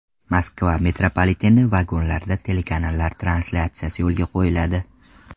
Moskva metropoliteni vagonlarida telekanallar translyatsiyasi yo‘lga qo‘yiladi.